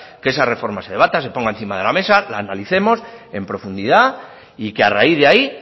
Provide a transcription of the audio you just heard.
que esa reforma se debata se ponga encima de la mesa la analicemos en profundidad y que a raíz de ahí